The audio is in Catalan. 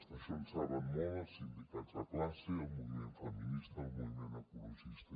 d’això en saben molt els sindicats de classe el moviment feminista el moviment ecologista